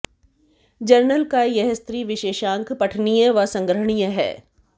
journal का यह स्त्री विशेषांक पठनीय व संग्रहणीय है